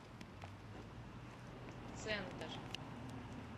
центр